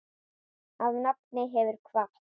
Afi nafni hefur kvatt.